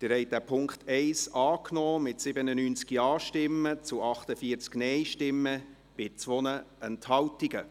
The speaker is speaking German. Sie haben den Punkt 1 angenommen, mit 97 Ja- gegen 48 Nein-Stimmen bei 2 Enthaltungen.